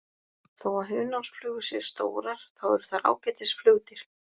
Þó að hunangsflugur séu stórar þá eru þær ágætis flugdýr.